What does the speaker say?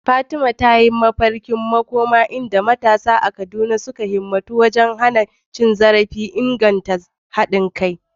Fatima ta yi mafarkin makoma inda matasa a Kaduna suka himmatu wajen hana cin zarafi da inganta haɗa kai.